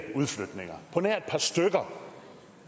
udflytninger på nær et par stykker